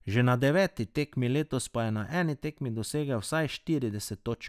Že na deveti tekmi letos pa je na eni tekmi dosegel vsaj štirideset točk.